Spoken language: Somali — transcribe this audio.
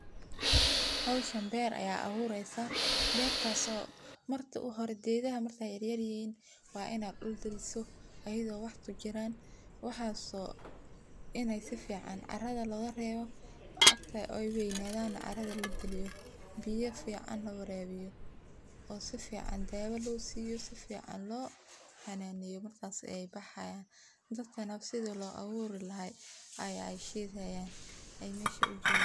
Howshaan beer aad awureysan, bertas oo marka hore gedaha markay yaryar yihiin wa ina dul galiso ayado wah kujiraan, waxas oo inay si ficaan carada logarebo oo marka ay weynadan carada lagaliyo biya fican lawarabiyo oo sifican dawoo losiyo si fican lohananeyo markas ayay bahayaan, dadkana sidi loaburi lahay ayay sheygi hayan waxay mesha ujogaan.